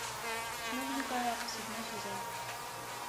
новенькая седьмой сезон